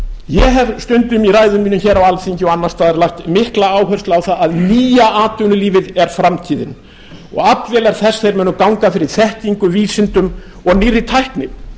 ég hef stundum í ræðum mínum hér á alþingi og annars staðar lagt mikla áherslu á að nýja atvinnulífið er framtíðin og aflvélar þess munu ganga fyrir þekkingu vísindum og nýrri tækni